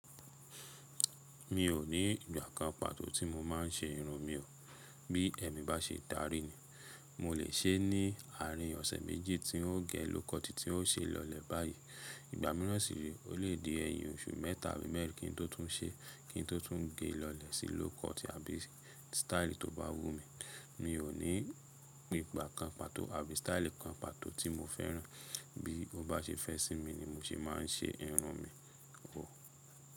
Mi ò ní ìgbà kan pàtó tí mo máa ń ṣe irun mi o. Bí ẹ̀mi bá ṣe darí ni mo lè ṣe é ní àárín ọ̀sẹ̀ méjì tí n o gé low cut, tí n ó ṣe lọ́lẹ̀ báyìí. Ìgbà mìíràn sì re, o le dí ẹ̀yìn oṣù mẹ́ta àbí mẹ́rin kí n tó tún ṣe, kí n tó tún gé lọ́lẹ̀ sí low cut àbí style tó bá wù mí. Mi ò ní ìgbà kan pàtó àbí sítáílì kan pàtó tí mo fẹ́ràn. Bí ó bá ṣe fẹ́ sí mi ni mo se máa ń ṣe irun mi o.